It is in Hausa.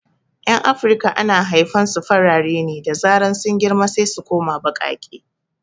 Yan afirika ana haifan su farare ne, da zaran sun girma sai su koma baƙaƙe